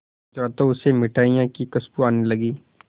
गुजरा तो उसे मिठाइयों की खुशबू आने लगी